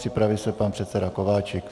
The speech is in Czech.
Připraví se pan předseda Kováčik.